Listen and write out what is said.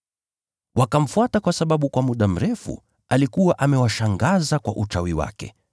Wakamfuata kwa sababu kwa muda mrefu alikuwa amewashangaza kwa uchawi wake.